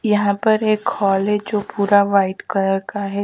यहां पर एक हॉल है जो पूरा वाइट कलर का है।